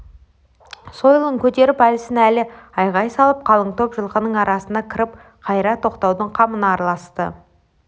сойылын көтеріп әлсін-әлі айғай салып қалың топ жылқының арасына кіріп қайыра тоқтатудың қамына араласты